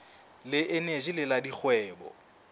le eneji le la dikgwebo